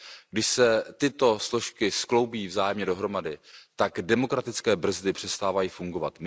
Když se tyto složky skloubí vzájemně dohromady, tak demokratické brzdy přestávají fungovat.